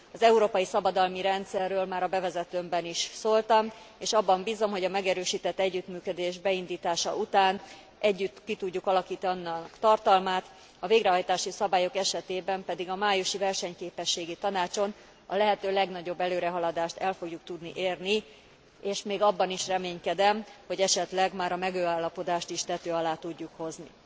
Az európai szabadalmi rendszerről már a bevezetőmben is szóltam, és abban bízom, hogy a megerősített együttműködés beindítása után együtt ki tudjuk alakítani annak tartalmát, a végrehajtási szabályok esetében pedig a májusi versenyképességi tanácson a lehető legnagyobb előrehaladást el fogjuk tudni érni, és még abban is reménykedem, hogy esetleg már a megállapodást is tető alá tudjuk hozni.